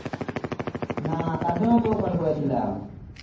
না তার জন তো call করে ছিলাম